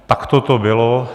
Takto to bylo.